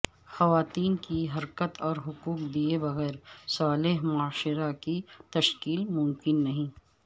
خواتین کی حرمت اور حقوق دئے بغیر صالح معاشرہ کی تشکیل ممکن نہیں